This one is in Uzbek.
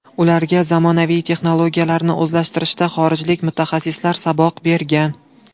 Ularga zamonaviy texnologiyalarni o‘zlashtirishda xorijlik mutaxassislar saboq bergan.